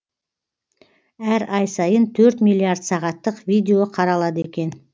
әр ай сайын төрт миллиард сағаттық видео қаралады екен